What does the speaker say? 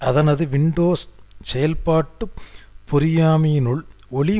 அதனது வின்டோஸ் செயற்பாட்டு பொறியமைவினுள் ஒலி